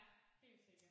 Ja helt sikkert